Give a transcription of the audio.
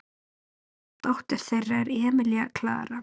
Dóttir þeirra er Emilía Klara.